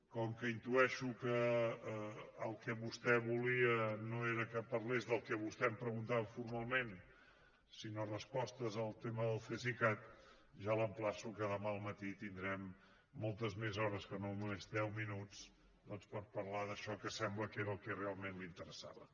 com que intueixo que el que vostè volia no era que parlés del que vostè em preguntava formalment sinó respostes al tema del cesicat ja l’emplaço que demà al matí tindrem moltes més hores que no només deu minuts doncs per parlar d’això que sembla que era el que realment li interessava